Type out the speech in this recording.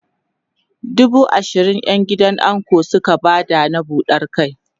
dubu ashirin ƴan gidan ango Suka Bada na buɗan kai